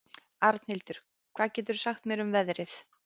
Arnhildur, hvað geturðu sagt mér um veðrið?